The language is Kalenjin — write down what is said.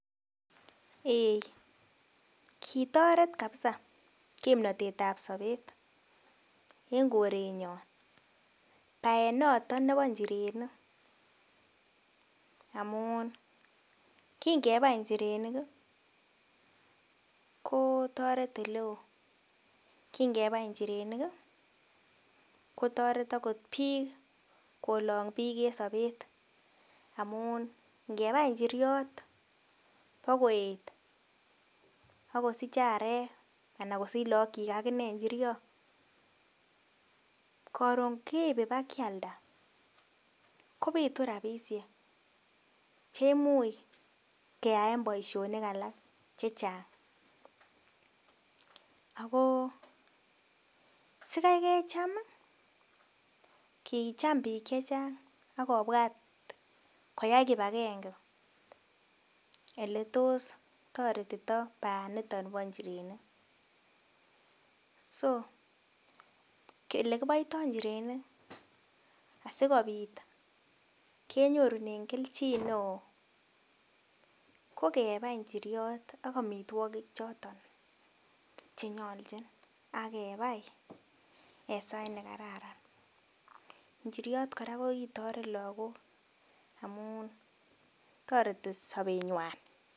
Eei kotoret kabisa kimnotet ab sobeten korenyon baet noton nebo njirenik amunkingebai njirenik ko toret oleo kingebai njirenik kolong' biik en sobet amun ngebai njiriot agoet agosiich arek anan kosich lakokuik akine njiriot koron keeib ibakialda kobitu rapisiek kemuch keyaen baisionik alak chechang' ago sigai kecham kokicham biik chechang' koyoi kipangenge oletos kitoretitoi baaniyon bonjirinik so olekipoitoi injirenik asigobiit kenyorunen kelgineo kokebai injiriot ak amitwakik choton chenyolgin agebai en sait negararan njiriot kora kokitoret lakok amun toreti sobenywan